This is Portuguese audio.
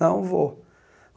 Não vou.